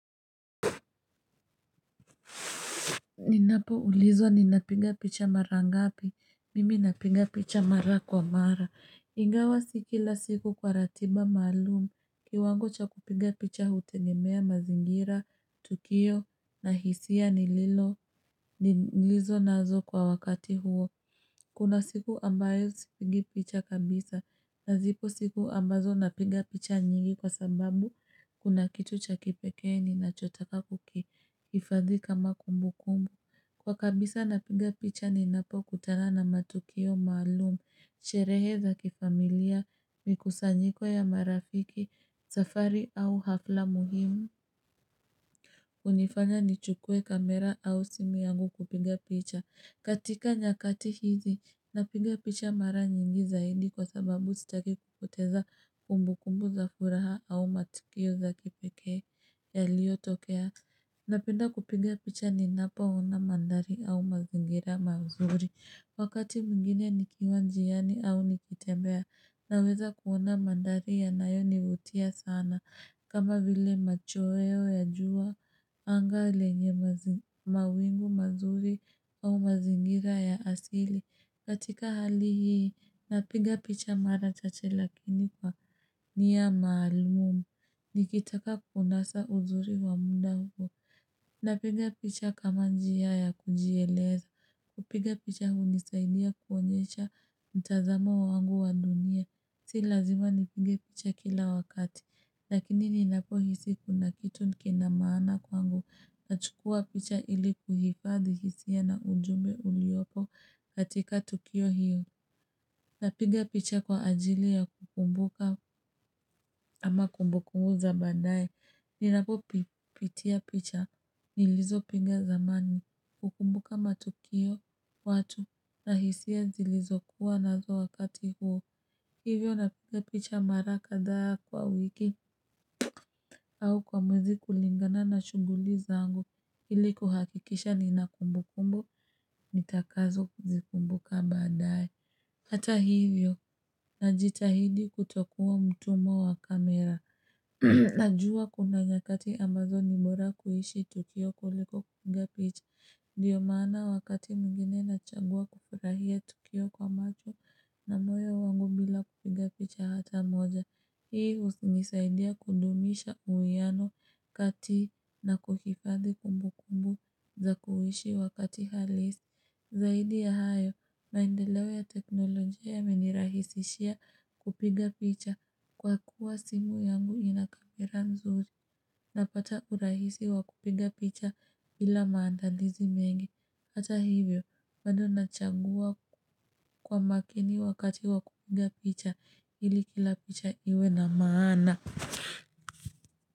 Ninapo ulizwa ninapiga picha mara ngapi, mimi napiga picha mara kwa mara. Ingawa si kila siku kwa ratiba maalumu, kiwango cha kupiga picha hutegemea mazingira, tukio, na hisia, nilizo nazo kwa wakati huo. Kuna siku ambayo sipigii picha kabisa, na zipo siku ambazo napiga picha nyingi kwa sababu, kuna kitu cha kipekee ninachotaka kuki, hifadhi kama kumbukumbu kumbu. Kwa kabisa napiga picha ninapo kutana na matukio maalumu, sherehe za kifamilia, mikusanyiko ya marafiki, safari au hafla muhimu. Kunifanya nichukue kamera au simu yangu kupiga picha. Katika nyakati hizi, napiga picha mara nyingi zaidi kwa sababu sitaki kupoteza kumbukumbu za furaha au matukio za kipekee yaliyotokea. Napenda kupiga picha ninapo ona mandhari au mazingira mazuri. Wakati mwingine ni kiwa njiani au nikitembea. Naweza kuona mandhari yanayo nivutia sana. Kama vile machweo ya jua. Anga lenye mawingu mazuri au mazingira ya asili. Katika hali hii napiga picha mara chache lakini kwa niya maalumu. Nikitaka kunasa uzuri wa muda huo Napiga picha kama njia ya kujieleza Kupiga picha hunisaidia kuonyesha mtazamo wa wangu wa dunia Si lazima nipige picha kila wakati Lakini ninapo hisi kuna kitu kina maana kwangu Nachukua picha ili kuhifadhi hisia ya na ujumbe uliopo katika tukio hiyo Napiga picha kwa ajili ya kukumbuka ama kumbukumu za baadaye Ninapo pitia picha nilizopiga zamani kukumbuka matukio watu na hisia zilizokuwa na zo wakati huo Hivyo napiga picha mara kadha kwa wiki au kwa mwezi kulingana na shughuli zangu ili kuhakikisha nina kumbukumb nitakazo kuzikumbuka badaaye Hata hivyo najitahidi kutokuwa mtumwa wa kamera Najua kuna nyakati ambazo ni bora kuishi tukio kuliko kupiga picha ndio maana wakati mwingine ninachagua kufurahia tukio kwa macho na moyo wangu bila kupiga picha hata moja Hii husinisaidia kudumisha uwiano kati na kuhifadhi kumbu kumbu za kuishi wakati halisi zaidi ya hayo maendeleo ya teknolojia yameenirahisishia kupiga picha kwa kuwa simu yangu inakamera nzuri napata urahisi wa kupiga picha ila maandalizi mengi hata hivyo bado nachagua kwa makini wakati wa kupiga picha ili kila picha iwe na maana.